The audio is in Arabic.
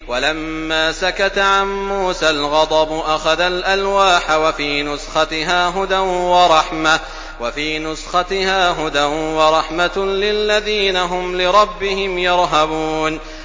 وَلَمَّا سَكَتَ عَن مُّوسَى الْغَضَبُ أَخَذَ الْأَلْوَاحَ ۖ وَفِي نُسْخَتِهَا هُدًى وَرَحْمَةٌ لِّلَّذِينَ هُمْ لِرَبِّهِمْ يَرْهَبُونَ